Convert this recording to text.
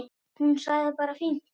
Hún sagði bara fínt.